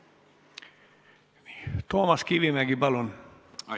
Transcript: Toomas Kivimägi, palun!